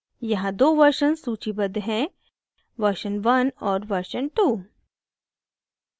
यहां दो versions सूचीबद्ध हैंversion one और version two